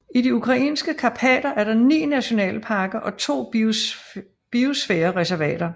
I de ukrainske karpater er der ni nationalparker og to biosfærereservater